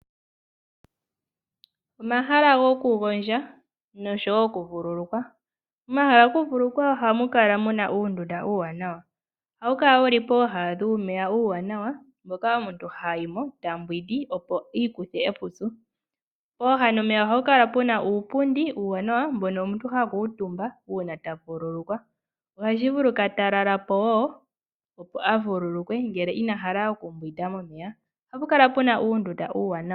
Omahala gokugondja nosho wo okuvululukwa Omahala gokuvululukwa ohamu kala mu na uundunda uuwanawa. Ohawu kala wu li pooha dhuumeya uuwanawa moka omuntu ha yi mo ta mbwindi, opo i ikuthe epupyu. Pooha dhomeya ohapu kala pu na uupundi uuwanawa mbono omuntu ha kuutumba uuna ta vululukwa. Ohashi vulika ta lala po wo, opo a vululukwe ngele ina hala okumbwinda momeya. Ohapu kala pu na uundunda uuwanawa.